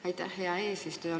Aitäh, hea eesistuja!